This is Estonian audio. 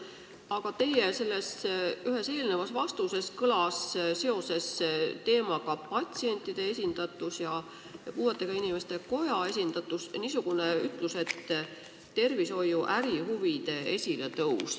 Aga teie ühes eelnevas vastuses kõlas seoses patsientide ja puuetega inimeste koja esindatusega niisugune ütlus nagu tervishoiu ärihuvide esiletõus.